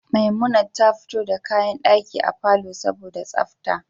Memunant ta fito da kayan daki a palour saboda tsafta